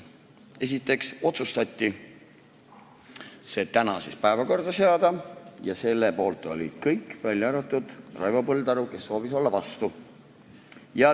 Esiteks otsustati see tänasesse päevakorda seada – selle poolt olid kõik, välja arvatud Raivo Põldaru, kes soovis olla vastu.